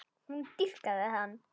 Hún dýrkaði hann.